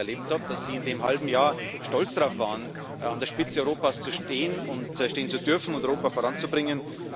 so wie ich es erlebt habe, waren sie in dem halben Jahr stolz darauf, an der Spitze Europas zu stehen, stehen zu dürfen und Europa voranzubringen.